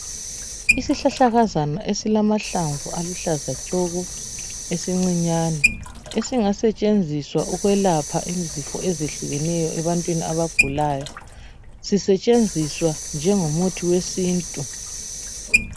Isihlahlakazana esilamahlamvu aluhlaza tshoko esincinyane ezingasetshenziswa ukwelapha izifo ezehlukeneyo ebantwini abagulayo. Sisetshenziswa njengomuthi wesintu.